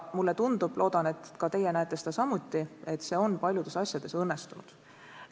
Mulle tundub ja ma loodan, et ka teie näete seda samuti, et see on paljudes asjades õnnestunud.